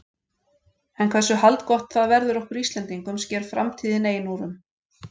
En hversu haldgott það verður okkur Íslendingum sker framtíðin ein úr um.